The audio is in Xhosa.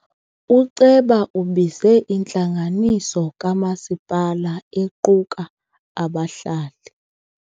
Uceba ubize intlanganiso kamasipala equka abahlali.